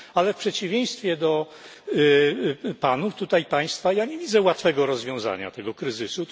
Ale w przeciwieństwie do panów, państwa tutaj, ja nie widzę łatwego rozwiązania tego kryzysu.